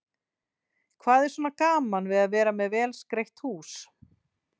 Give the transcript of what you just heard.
Hvað er svona gaman við að vera með vel skreytt hús?